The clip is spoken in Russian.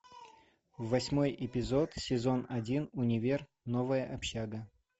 восьмой эпизод сезон один универ новая общага